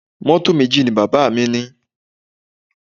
Mọ́tò méjì ni bàbá mi ní?